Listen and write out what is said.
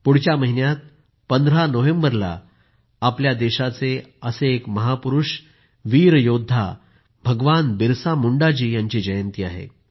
पुढल्या महिन्यात १५ नोव्हेंबरला आमच्या देशाचे असेच महापुरूष वीर योद्धा भगवान बिरसा मुंडाजी यांची जयंती आहे